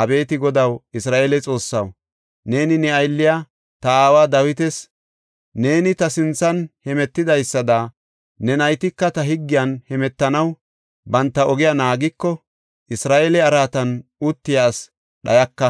Abeeti Godaw, Isra7eele Xoossaw neeni ne aylliya, ta aawa Dawitas, ‘Neeni ta sinthan hemetidaysada ne naytika ta higgiyan hemetanaw banta ogiya naagiko, Isra7eele araatan uttiya ase dhayaka’